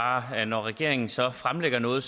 bare at når regeringen så fremlægger noget